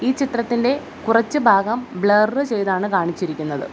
ചിത്രത്തിൻ്റെ കുറച്ചുഭാഗം ബ്ലറ് ചെയ്താണ് കാണിച്ചിരിക്കുന്നത്.